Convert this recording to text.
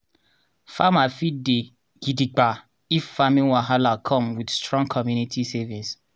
farmer fit dey gidigba if farming wahala come with strong community savings.